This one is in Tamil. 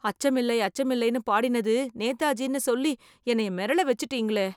அச்சமில்லை அச்சமில்லைன்னு பாடினது நேதாஜின்னு சொல்லி என்னய மிரள வச்சுட்டீங்களே.